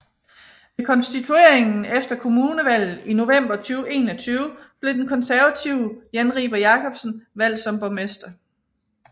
Ved konstitueringen efter kommunevalget i november 2021 blev den konservative Jan Riber Jakobsen valgst som borgmester